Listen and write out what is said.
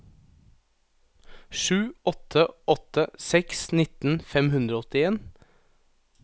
sju åtte åtte seks nitten fem hundre og åttien